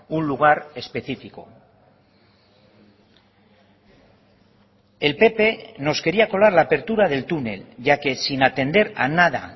un lugar específico el pp nos quería colar la apertura del túnel ya que sin atender a nada